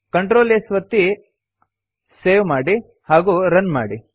Ctrl S ಒತ್ತಿ save ಮಾಡಿ ಹಾಗೂ ರನ್ ಮಾಡಿ